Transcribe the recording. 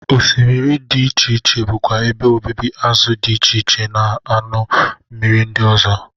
Osmiri dị iche iche bụkwa ebe obibi azụ dị iche iche na anụ mmiri ndị ọzọ.